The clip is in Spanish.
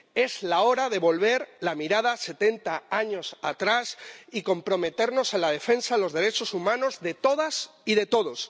Es la hora de volver la mirada setenta años atrás y comprometernos a la defensa de los derechos humanos de todas y de todos.